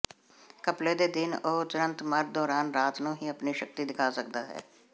ਘਪਲੇ ਦੇ ਦਿਨ ਉਹ ਤੁਰੰਤ ਮਰ ਦੌਰਾਨ ਰਾਤ ਨੂੰ ਹੀ ਆਪਣੀ ਸ਼ਕਤੀ ਦਿਖਾ ਸਕਦਾ ਹੈ